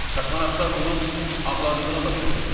Kosmonavtlar onun ağladığını başa düşdülər.